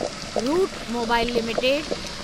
route Mobile limited